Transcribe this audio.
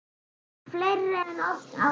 Fleiri en oft áður.